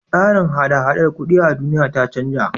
Tsarin hada-hadar kuɗi a duniya ta canja.